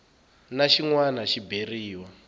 na xin wana xi beriwa